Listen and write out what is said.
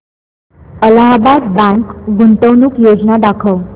Allahabad bank गुंतवणूक योजना दाखव